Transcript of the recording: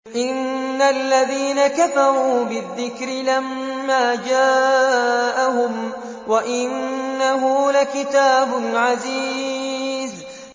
إِنَّ الَّذِينَ كَفَرُوا بِالذِّكْرِ لَمَّا جَاءَهُمْ ۖ وَإِنَّهُ لَكِتَابٌ عَزِيزٌ